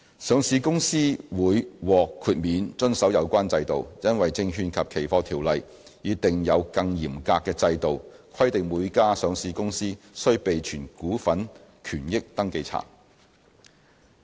上市公司會獲豁免遵守有關規定，因為《證券及期貨條例》已訂有更嚴格的制度，規定每家上市公司須備存股份權益登記冊。